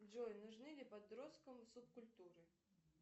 джой нужны ли подросткам субкультуры